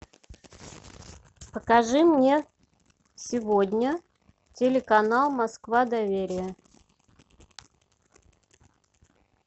покажи мне сегодня телеканал москва доверие